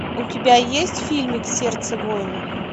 у тебя есть фильмик сердце воина